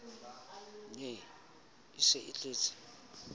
ne a se a tletse